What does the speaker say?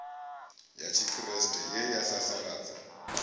ya tshikriste ye ya sasaladza